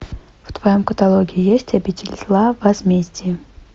в твоем каталоге есть обитель зла возмездие